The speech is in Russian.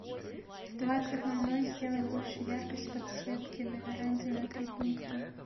в двадцать ноль ноль сделай больше яркость подсветки на веранде на три пункта